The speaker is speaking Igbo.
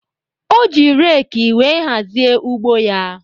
O ji reeki wee hazie ugbo ya